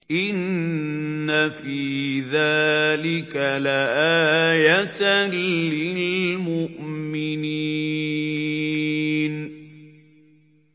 إِنَّ فِي ذَٰلِكَ لَآيَةً لِّلْمُؤْمِنِينَ